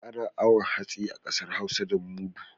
Ana awon hatsi a ƙasar hausa da mudu.